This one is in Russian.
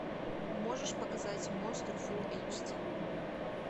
можешь показать монстр фулл эйч ди